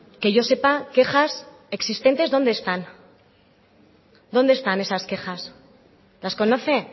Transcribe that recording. que yo sepa quejas existentes dónde están dónde están esas quejas las conoce